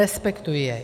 Respektuji jej.